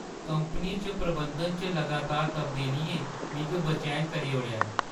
Company च प्रबंधन च लगातार तब्दीलियें मिगी बेचैन करी ओड़ेआ ऐ।